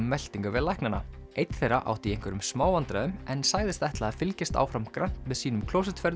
meltingarveg læknanna einn þeirra átti í einhverjum smá vandræðum en sagðist ætla að fylgjast áfram grannt með sínum